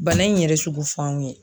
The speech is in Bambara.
Bana in yɛrɛ sugu f'anw ye.